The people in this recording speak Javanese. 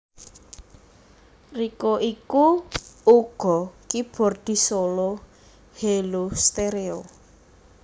Rico iku uga keyboardis solo Hellostereo